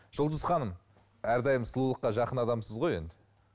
жұлдыз ханым әрдайым сұлулыққа жақын адамсыз ғой енді